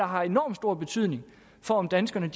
har enormt stor betydning for om danskerne